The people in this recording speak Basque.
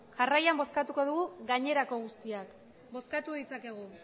jarraian bozkatuko dugu gainerako guztiak bozkatu dezakegu